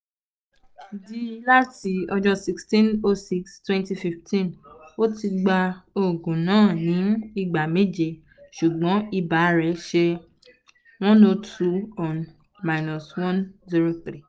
d láti ọjọ́ sixteen / six / twenty fifteen ó ti gba òògùn náà ní ìgbà méje ṣùgbọ́n ibà rẹ̀ ( one hundred two - one hundred three